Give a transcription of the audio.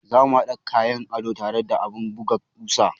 Za mu haɗa kayan ado tare da abun buga kusa.